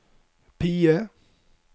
PIE